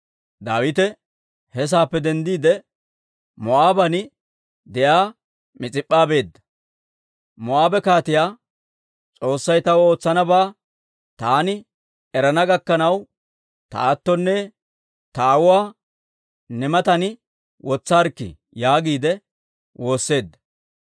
Daawite he saappe denddiide, Moo'aaben de'iyaa Mis'ip'p'a beedda; Moo'aabe kaatiyaa, «S'oossay taw ootsanabaa taani erana gakkanaw ta aattonne ta aawuwaa ne matan wotsissaarikkii» yaagiide woosseedda.